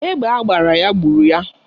Egbe agbara ya gburu ya.